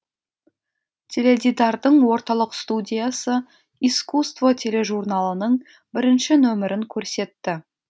теледидардың орталық студиясы искусство тележурналының бірінші нөмірін көрсетті